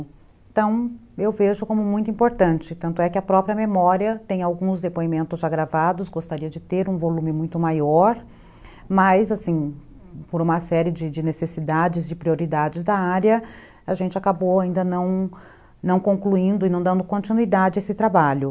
Então, eu vejo como muito importante, tanto é que a própria memória tem alguns depoimentos já gravados, gostaria de ter um volume muito maior, mas, assim, por uma série de de necessidades e prioridades da área, a gente acabou ainda não, não concluindo e não dando continuidade a esse trabalho.